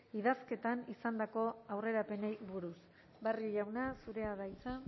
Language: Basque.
idazketan izandako aurrerapenei buruz barrio jauna zurea da hitza